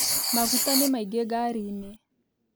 Maguta nĩ maingĩ ngariinĩ